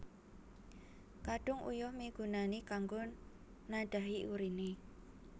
Kandhung Uyuh migunani kanggo nadhahi urine